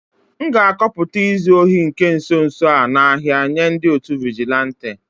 M ga-akọpụta izu ohi nke nso nso a n'ahia nye ndi otu vigilanti